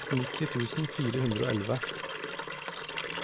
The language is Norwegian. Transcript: nitti tusen fire hundre og elleve